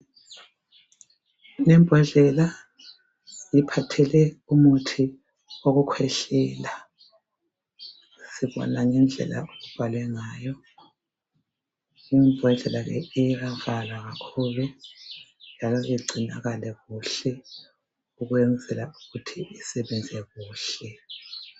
Imbodlela iphathele umuthi owokukhwehlela sibona ngendlela obhalwe ngayo. Imbodlela le iyanceda kakhulu njalo kumelingcinakale kuhle ukwenzela ukuthi isebenze kuhle